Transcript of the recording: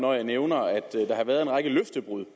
løftebrud